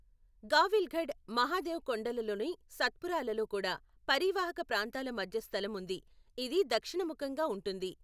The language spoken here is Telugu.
గావిల్గఢ్, మహాదేవ్ కొండలలోని సత్పురాలలో కూడా పరీవాహక ప్రాంతాల మధ్యస్థలం ఉంది, ఇది దక్షిణ ముఖంగా ఉంటుంది.